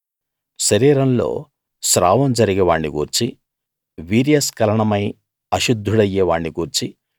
శరీరంలో స్రావం జరిగే వాణ్ణి గూర్చీ వీర్యస్కలనమై అశుద్ధుడయ్యే వాణ్ణి గూర్చీ